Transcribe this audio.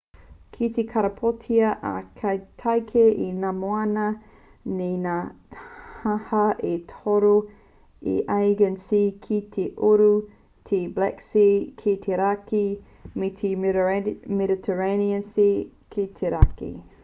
kei te karapotia a tākei e ngā moana ki ngā taha e toru te aegean sea ki te uru te black sea ki te raki me te mediterranean sea ki te raki